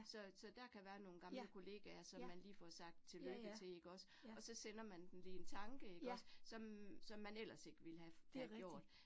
Så så der kan være nogle gamle kollegaer, som man lige får sagt tillykke til ikke også, og så sender man dem lige en tanke ikke også, som som man ellers ikke ville have have gjort